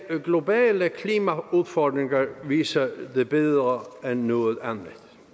globale klimaudfordringer viser det bedre end noget andet